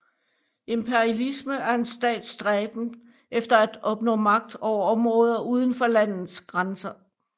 Imperialisme er en stats stræben efter at opnå magt over områder uden for landets grænser